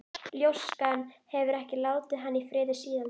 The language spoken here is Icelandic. Ljóskan hefur ekki látið hann í friði síðan.